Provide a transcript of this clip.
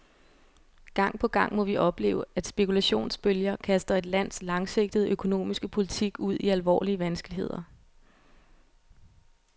Gang på gang må vi opleve, at spekulationsbølger kaster et lands langsigtede økonomiske politik ud i alvorlige vanskeligheder.